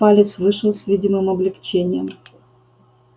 палец вышел с видимым облегчением